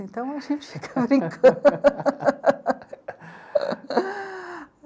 Então, a gente fica brincan...